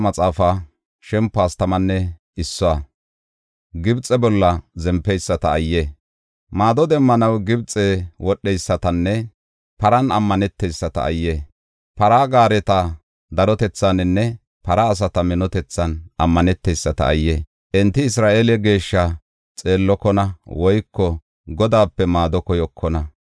Maado demmanaw Gibxe wodheysatanne paran ammaneteyisata ayye! Para gaareta darotethaaninne para asata minotethan ammaneteyisata ayye! Enti Isra7eele Geeshshaa xeellokona woyko Godaape maado koyokona.